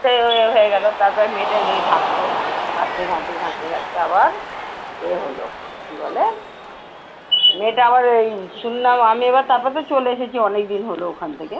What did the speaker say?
এ হয়ে গেলো, তারপরে মেয়েটা এমনি থাকতো, থাকতে থাকতে থাকতে থাকতে আবার এ হলো কি বলে? মেয়েটা আবার ওই শুনলাম আমি আবার তারপর তো চলে এসেছি অনেকদিন হলো ওখান থেকে